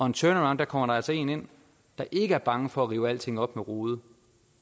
en turnaround kommer der altså en ind der ikke er bange for at rive alting op med rode